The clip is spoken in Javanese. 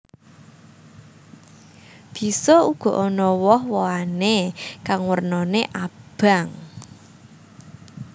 Bisa uga ana woh wohané kang wernané abang